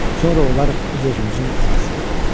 Sonra olarıq öz-özümüzün ağası.